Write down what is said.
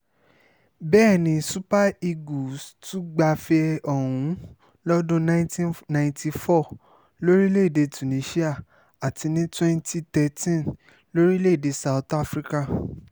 bẹ́ẹ̀ ni super eagles tún gbafẹ́ ọ̀hún lọ́dún nineteen ninety four lórílẹ̀‐èdè tunisia àti ní twenty thirteen lórílẹ̀‐èdè south africa